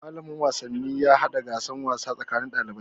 Malamin wasanni ya hada gasan wasa tsakanin ɗalibai.